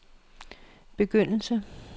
begyndelse